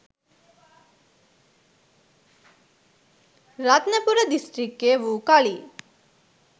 රත්නපුර දිස්ත්‍රික්කය වූ කලී